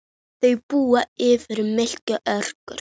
Þau búa yfir mikilli orku.